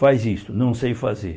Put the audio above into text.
Faz isso, não sei fazer.